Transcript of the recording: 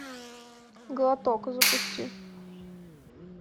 глоток запусти